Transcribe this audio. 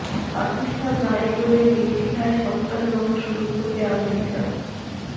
পাকিস্তান না এগোলে নির্দ্বিধায় সন্ত্রাস দমন শুরু করবে আমেরিকা